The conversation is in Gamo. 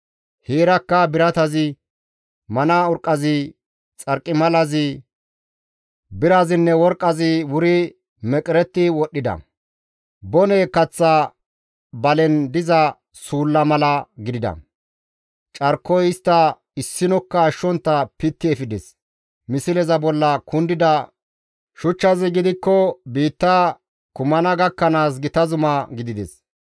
Heerakka biratazi, mana urqqazi, xarqimalazi, birazinne worqqazi wuri meqeretti wodhdhida; bone kaththa balen diza suulla mala gidida; carkoy istta issinokka ashshontta pitti efides; misleza bolla kundida shuchchazi gidikko izi biitta kumanaashe gakkanaas gita zuma gidides.